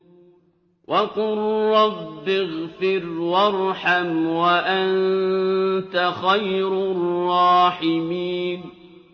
وَقُل رَّبِّ اغْفِرْ وَارْحَمْ وَأَنتَ خَيْرُ الرَّاحِمِينَ